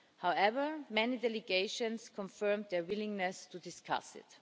However, many delegations confirmed their willingness to discuss it.